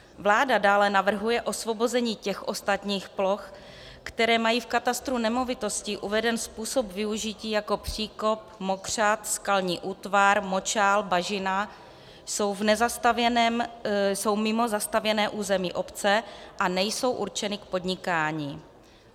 Vláda dále navrhuje osvobození těch ostatních ploch, které mají v katastru nemovitostí uveden způsob využití jako příkop, mokřad, skalní útvar, močál, bažina, jsou mimo zastavěné území obce a nejsou určeny k podnikání.